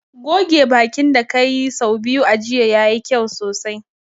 Goge bakin ka da ka yi sau biyu a jiya, ya yi kyau sosai.